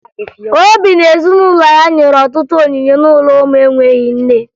Obi na ezinụlọ ya nyere ọtụtụ onyinye n'ụlọ ụmụ enweghi nne